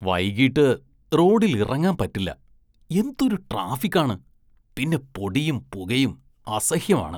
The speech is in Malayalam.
വൈകീട്ട് റോഡില്‍ ഇറങ്ങാന്‍ പറ്റില്ല, എന്തൊരു ട്രാഫിക്കാണ്, പിന്നെ പൊടിയും പുകയും അസഹ്യമാണ്.